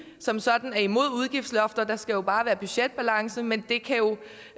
som sådan er imod udgiftslofter der skal jo bare være budgetbalance men det kan jo